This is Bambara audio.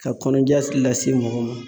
Ka kɔnɔja lase mɔgɔ ma